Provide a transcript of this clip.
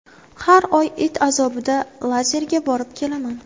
Har oy it azobida lazerga borib kelaman.